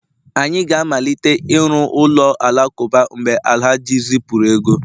anyị ga-amalite ịrụ ụlọ alakụba, mgbe Alhaji zipụrụ ego